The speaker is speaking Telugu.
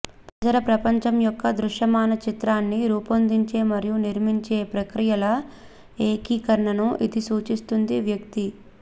పరిసర ప్రపంచం యొక్క దృశ్యమాన చిత్రాన్ని రూపొందించే మరియు నిర్మించే ప్రక్రియల ఏకీకరణను ఇది సూచిస్తుంది వ్యక్తి